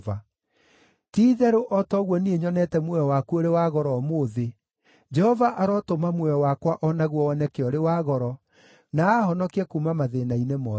Ti-itherũ o ta ũguo niĩ nyonete muoyo waku ũrĩ wa goro ũmũthĩ, Jehova arotũma muoyo wakwa o naguo woneke ũrĩ wa goro, na aahonokie kuuma mathĩĩna-inĩ mothe.”